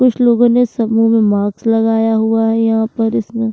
कुछ लोगों ने सभों में माक्स लगाया हुआ है यहाँ पर इसने --